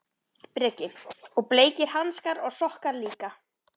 Breki: Og bleikir hanskar og sokkar líka?